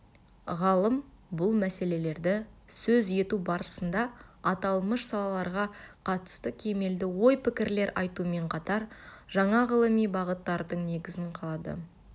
ғалым бұл мәселелерді сөз ету барысында аталмыш салаларға қатысты кемелді ой-пікірлер айтумен қатар жаңа ғылыми бағыттардың негізін қалады